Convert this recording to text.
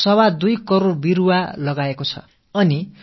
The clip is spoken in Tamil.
25 கோடி மரக்கன்றுகளை நட்டிருக்கிறது என்ற தகவல் எனக்கு அளிக்கப்பட்டிருக்கிறது